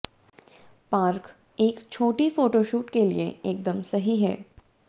park एक छुट्टी photo shoot के लिए एकदम सही है